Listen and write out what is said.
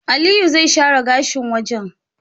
Aliyu zai share gashin wajan